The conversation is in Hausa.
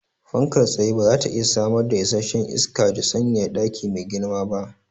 Fankar tsaye bazata iya samar da isasshen isaka da sanyaya daki mai girma ba